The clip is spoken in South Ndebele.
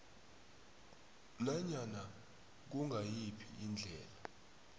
nanyana kungayiphi indlela